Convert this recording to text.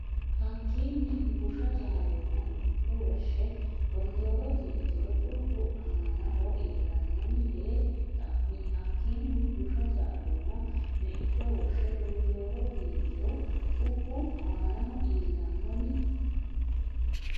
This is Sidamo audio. Hakkiinni Busha Jaalooma meicho woshshe Gondooro diingiro cubbu annaho iillannoni yee xa mi Hakkiinni Busha Jaalooma meicho woshshe Gondooro diingiro cubbu annaho iillannoni.